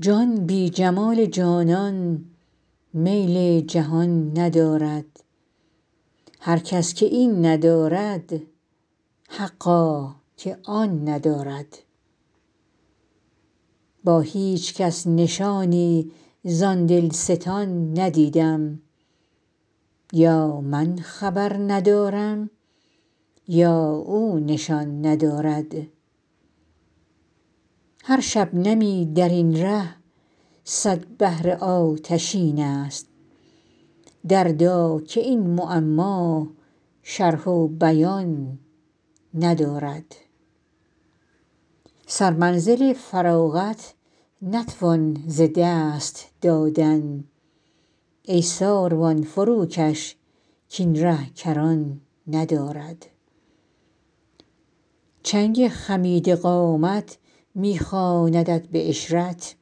جان بی جمال جانان میل جهان ندارد هر کس که این ندارد حقا که آن ندارد با هیچ کس نشانی زان دلستان ندیدم یا من خبر ندارم یا او نشان ندارد هر شبنمی در این ره صد بحر آتشین است دردا که این معما شرح و بیان ندارد سرمنزل فراغت نتوان ز دست دادن ای ساروان فروکش کاین ره کران ندارد چنگ خمیده قامت می خواندت به عشرت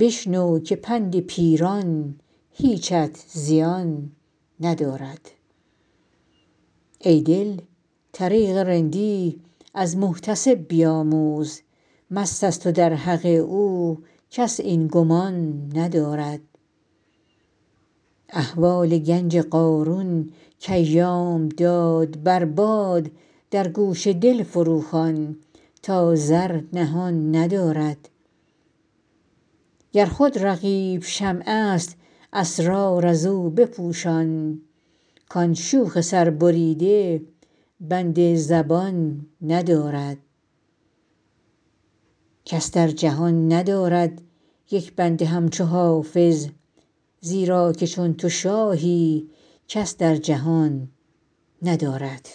بشنو که پند پیران هیچت زیان ندارد ای دل طریق رندی از محتسب بیاموز مست است و در حق او کس این گمان ندارد احوال گنج قارون کایام داد بر باد در گوش دل فروخوان تا زر نهان ندارد گر خود رقیب شمع است اسرار از او بپوشان کان شوخ سربریده بند زبان ندارد کس در جهان ندارد یک بنده همچو حافظ زیرا که چون تو شاهی کس در جهان ندارد